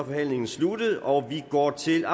forhandlingen sluttet og vi går til